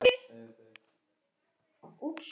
Honum var eiginlega of brugðið til að hann mætti mæla.